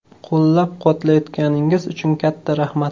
Qo‘llab-quvvatlayotganingiz uchun katta rahmat.